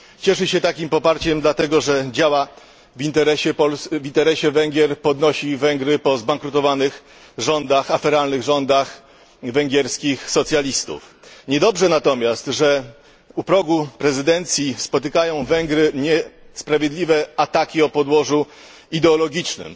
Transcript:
Cieszy się takim poparciem dlatego, że działa w interesie Węgier, podnosi Węgry po zbankrutowanych, aferalnych rządach węgierskich socjalistów. Niedobrze natomiast, że u progu prezydencji spotykają Węgry niesprawiedliwe ataki o podłożu ideologicznym.